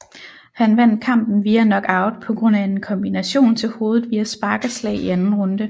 Han vandt kampen via knockout på grund af en kombination til hovedet via spark og slag i anden runde